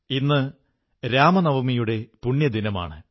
ഇന്ന് വിജയദശമി അതായത് ദസറയുടെ പുണ്യദിനമാണ്